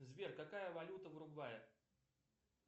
сбер какая валюта в уругвае